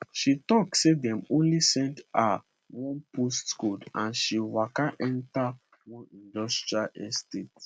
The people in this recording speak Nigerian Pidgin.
she tok say dem only send her one postcode and she waka enta one industrial estate